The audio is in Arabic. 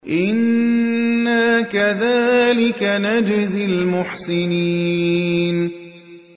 إِنَّا كَذَٰلِكَ نَجْزِي الْمُحْسِنِينَ